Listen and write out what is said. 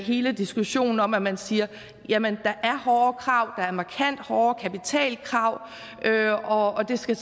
hele diskussionen om at man siger jamen der er hårde krav der er markant hårde kapitalkrav og det skal